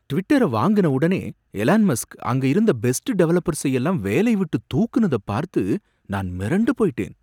ட்விட்டரை வாங்குன உடனே Elon Musk அங்க இருந்த பெஸ்ட் டெவலப்பர்ஸை எல்லாம் வேலைய விட்டு தூக்குனத பார்த்து நான் மிரண்டு போயிட்டேன்.